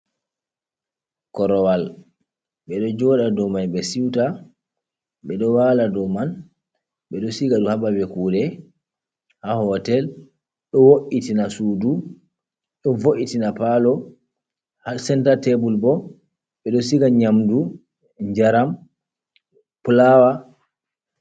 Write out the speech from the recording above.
Korowal ɓeɗo jooɗa ɗou man be siuta, ɓe ɗo wala ɗow man, ɓe ɗo siga ɗum ha ɓaɓal kuɗe, ha hotel. Ɗo vo’’itina suɗu, ɗo vo’itina palo. Ha senta tebul ɓo, ɓe ɗo siga nyamɗu, jaram, pulawa.